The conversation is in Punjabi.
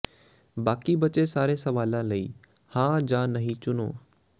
ਬਾਕੀ ਬਚੇ ਸਾਰੇ ਸਵਾਲਾਂ ਲਈ ਹਾਂ ਜਾਂ ਨਹੀਂ ਚੁਣੋ